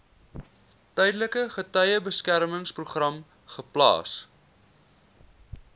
tydelike getuiebeskermingsprogram geplaas